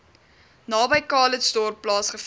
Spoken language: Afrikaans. naby calitzdorp plaasgevind